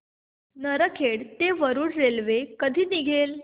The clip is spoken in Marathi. नरखेड ते वरुड रेल्वे कधी निघेल